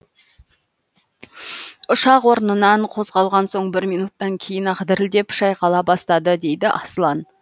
ұшақ орнынан қозғалған соң бір минуттан кейін ақ дірілдеп шайқала бастады дейді аслан